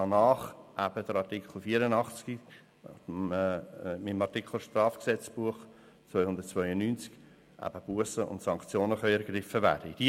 Danach sollen gemäss Artikel 84 und Artikel 292 des Schweizerischen Strafgesetzbuches (StGB) Bussen und Sanktionen ergriffen werden können.